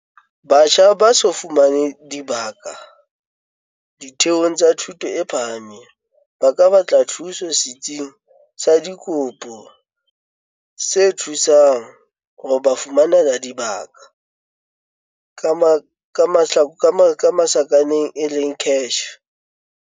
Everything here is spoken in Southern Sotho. Batjha ba so fumane dibaka ditheong tsa thuto e phahameng ba ka batla thuso Setsing sa Dikopo se Thusang ho ba Fumanela Dibaka, CACH.